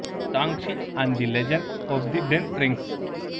Shang-Chi and the legend of the ten rings